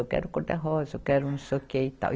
Eu quero cor de rosa, eu quero não sei o que e tal.